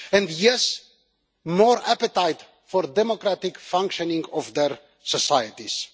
And yes, more appetite for the democratic functioning of their societies.